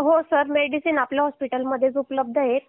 हो sir medicine आपल्या हॉस्पिटलमध्येच उपलब्ध आहेत